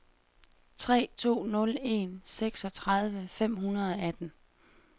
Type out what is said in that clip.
tre to nul en seksogtredive fem hundrede og atten